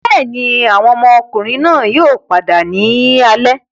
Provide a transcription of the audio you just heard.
Bẹẹni, awọn ọmọkunrin yoo pada ni alẹ